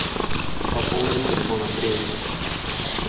пополнить телефон андрея